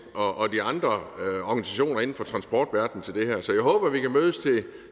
og de andre organisationer inden for transportverdenen i det her så jeg håber vi kan mødes